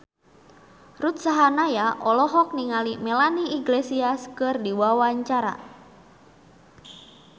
Ruth Sahanaya olohok ningali Melanie Iglesias keur diwawancara